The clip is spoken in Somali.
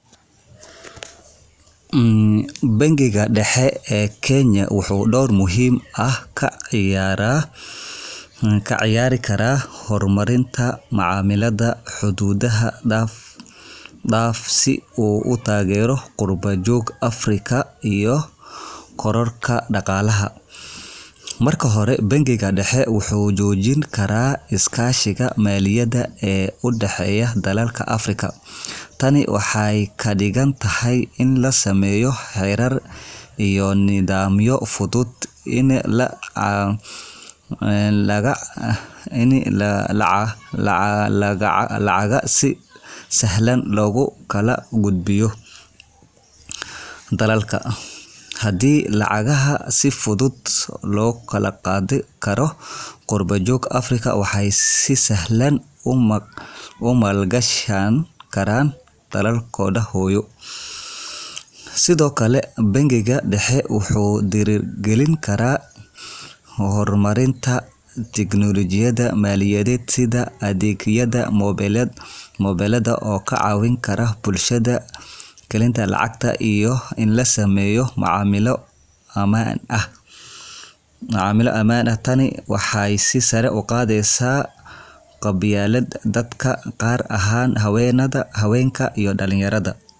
Bangiga dhexe ee Kenya wuxuu door muhiim ah ka ciyaari karaa hormarinta macaamillada xuduudaha dhaafa si uu u taageero qurbo-joogta Afrika iyo kororka dhaqaalaha. Marka hore, bangiga dhexe wuxuu xoojin karaa iskaashiga maaliyadeed ee u dhexeeya dalalka Afrika. Tani waxay ka dhigan tahay in la sameeyo xeerar iyo nidaamyo fududeynaya in lacagaha si sahlan loogu kala gudbiyo dalalka. Haddii lacagaha si fudud loo kala qaadi karo, qurbo-joogta Afrika waxay si sahlan u maalgashan karaan dalalkooda hooyo. Sidoo kale, bangiga dhexe wuxuu dhiirrigelin karaa horumarinta tiknoolajiyada maaliyadeed, sida adeegyada mobilada oo ka caawin kara bulshada inay galiyaan lacagaha iyo in la sameeyo macaamillo ammaan ah. Tani waxay sare u qaadi kartaa ka qaybgalka dadka, gaar ahaan haweenka iyo dhallinyarada.